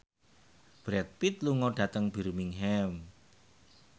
Brad Pitt lunga dhateng Birmingham